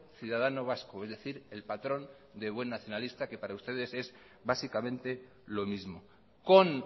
ciudadano vasco es decir el patrón de buen nacionalista que para ustedes es básicamente lo mismo con